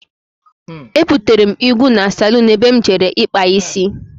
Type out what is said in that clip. Ebutere m ìgwu na salún ebe m jere ikpa isi.